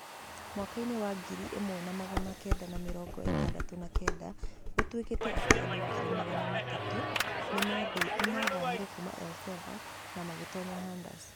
Mwaka-inĩ wa ngiri ĩmwe na magana kenda na mĩrongo ĩtandatũ na kenda, gũtuekete atĩ andũ ngiri magana matatũ nĩ maathamire kuuma El Sav na magĩtoonya Honders.